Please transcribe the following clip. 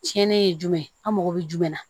Tiɲɛnen ye jumɛn ye an mago bɛ jumɛn na